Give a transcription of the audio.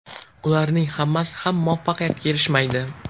Ularning hammasi ham muvaffaqiyatga erishmaydi.